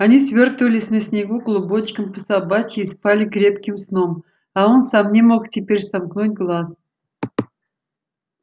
они свёртывались на снегу клубочком по собачьи и спали крепким сном а он сам не мог теперь сомкнуть глаз